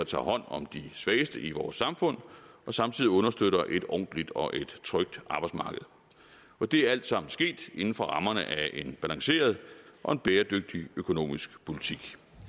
tager hånd om de svageste i vores samfund og samtidig understøtter et ordentligt og trygt arbejdsmarked og det er alt sammen sket inden for rammerne af en balanceret og bæredygtig økonomisk politik